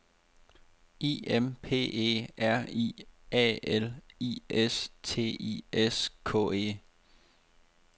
I M P E R I A L I S T I S K E